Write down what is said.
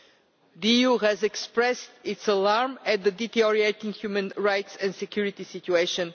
The EU has expressed its alarm at the deteriorating human rights and security situation.